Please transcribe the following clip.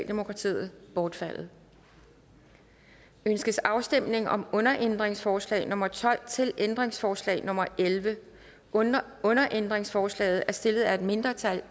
mindretal bortfaldet ønskes afstemning om underændringsforslag nummer tolv til ændringsforslag nummer 11 underændringsforslaget er stillet af et mindretal